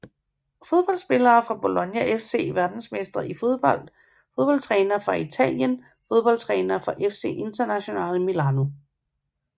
Fodboldspillere fra Bologna FC Verdensmestre i fodbold Fodboldtrænere fra Italien Fodboldtrænere fra FC Internazionale Milano